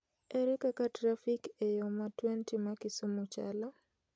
Ere kaka trafik e yo ma 20 ma Kisumu chalo?